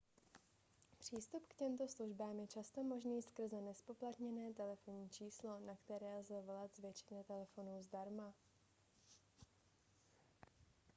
přístup k těmto službám je často možný skrze nezpoplatněné telefonní číslo na které lze volat z většiny telefonů zdarma